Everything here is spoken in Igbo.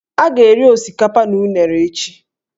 A ga-eri osikapa na unere echi.